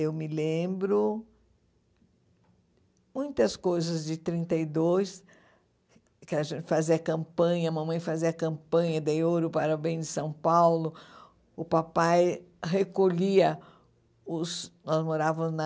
Eu me lembro muitas coisas de trinta e dois , que a gente fazia campanha, a mamãe fazia campanha de ouro para o bem de São Paulo, o papai recolhia os, nós morávamos na